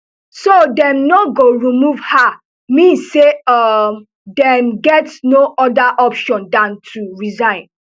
so dem no go remove her mean say um dem get no oda option dan to resign